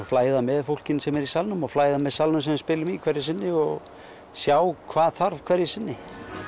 flæða með fólkinu sem er í salnum og flæða með salnum sem við spilum í hverju sinni og sjá hvað þarf hverju sinni